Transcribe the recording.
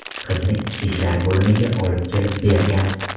qizni ichki ishlar bo‘limiga olib kelib bergan.